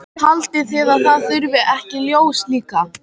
Haldið þið að það þurfi ekki ljós líka?